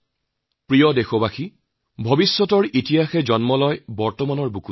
মোৰ প্ৰিয় দেশবাসী আমি এটা কথা স্বীকাৰ কৰিবই লাগিব যে ইতিহাসৰ গৰ্ভত ভৱিষ্যতৰ জন্ম হয়